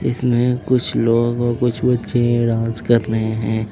इसमें कुछ लोग और कुछ बच्चे डांस कर रहे हैं।